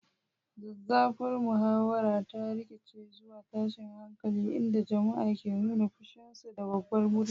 Zazzafar muhawarar ta rikide zuwa tashin hankali, inda jama'a ke nuna fushinsu da babbar murya.